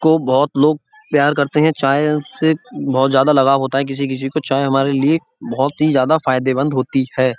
को बहुत लोग प्यार करते हैं। चाय से बहुत ज्यादा लगाव होता है किसी किसी को चाय हमारे लिए बहुत ही ज्यादा फायदेमंद होती है।